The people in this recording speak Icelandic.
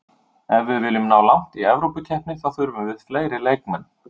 Ef við viljum ná langt í Evrópukeppni þá þurfum við fleiri leikmenn.